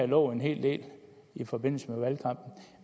lovet en hel del i forbindelse